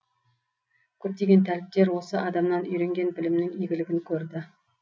көптеген тәліптер осы адамнан үйренген білімнің игілігін көрді